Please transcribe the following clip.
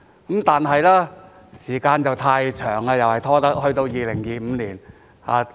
不過，時間拖得太長了，要拖到2025年。